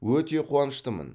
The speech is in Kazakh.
өте қуаныштымын